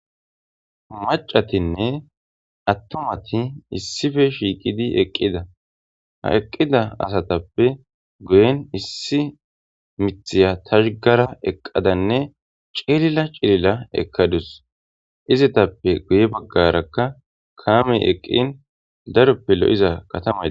macatinne attummati issife shiiqidi eqqida ha eqqida asatappe guyen issi miththiya tashggara eqqadanne cililla cilila ekadus izitappe guye baggarakka kaamey eqqin daroppe lo'iza kattamay